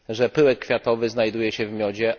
pyłek kwiatowy znajduje się w miodzie.